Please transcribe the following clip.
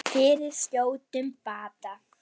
Fyrir skjótum bata.